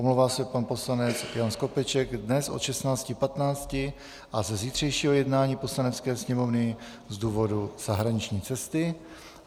Omlouvá se pan poslanec Jan Skopeček dnes od 16.15 a ze zítřejšího jednání Poslanecké sněmovny z důvodu zahraniční cesty.